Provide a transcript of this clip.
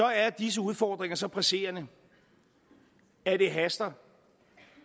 er disse udfordringer så presserende at det haster